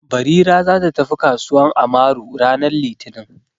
Barira za ta tafi kasuwan Amaru ranar litini.